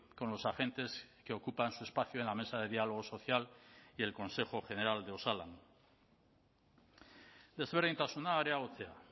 con los agentes que ocupan su espacio en la mesa de diálogo social y el consejo general de osalan desberdintasuna areagotzea